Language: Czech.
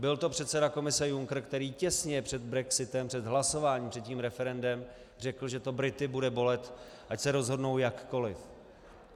Byl to předseda Komise Juncker, který těsně před brexitem, před hlasováním, před tím referendem, řekl, že to Brity bude bolet, ať se rozhodnou jakkoli.